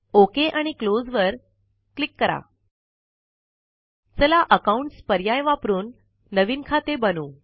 okay आणि close वर click करा चला अकाउंट्स पर्याय वापरून नवीन खाते बनवू